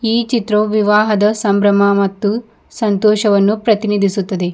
ಈ ಚಿತ್ರವು ವಿವಾಹದ ಸಂಭ್ರಮ ಮತ್ತು ಸಂತೋಚವನ್ನು ಪ್ರತಿನಿಧಿಸುತ್ತದೆ.